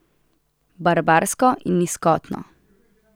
Barbarsko in nizkotno.